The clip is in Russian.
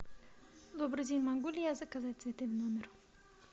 добрый день могу ли я заказать цветы в номер